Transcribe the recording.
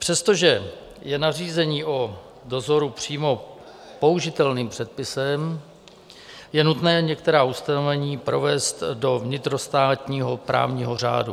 Přestože je nařízení o dozoru přímo použitelným předpisem, je nutné některá ustanovení provést do vnitrostátního právního řádu.